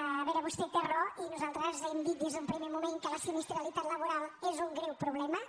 a veure vostè té raó i nosaltres hem dit des d’un primer moment que la sinistralitat laboral és un greu problema